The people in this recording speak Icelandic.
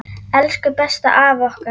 Elsku besta afa okkar.